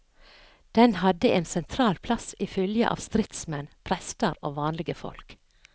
Den hadde ein sentral plass i fylgje av stridsmenn, prestar og vanlege folk.